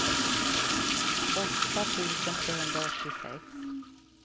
åtta tusen trehundraåttiosex